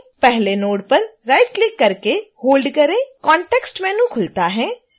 पहले नोड पर right click करके होल्ड करें कॉंटेक्स्ट मेनू खुलता है